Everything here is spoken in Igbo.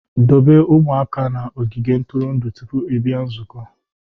Dobe ụmụaka na ogige ntụrụndụ tupu ị bịa nzukọ